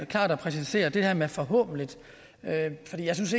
klart at præcisere det her med forhåbentlig for jeg synes